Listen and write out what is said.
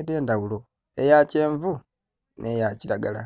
edhendhaghulo eyakyenvu n'eyakiragala.